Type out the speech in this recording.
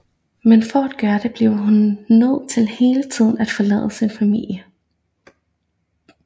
Men for at gøre det bliver hun nødt til hele tiden at forlade sin familie